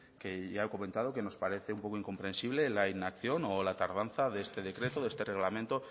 que ya he comentado que nos parece un poco incomprensible la inacción o la tardanza de este decreto de este reglamento